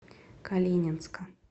калининска